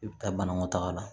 I bɛ taa banakɔ taga la